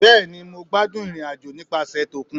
Bẹẹni mo gbadun irin-ajo nipasẹ tokún